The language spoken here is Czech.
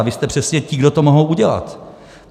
A vy jste přesně ti, kdo to mohou udělat.